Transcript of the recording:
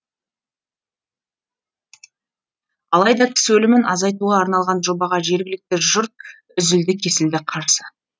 алайда кісі өлімін азайтуға арналған жобаға жергілікті жұрт үзілді кесілді қарсы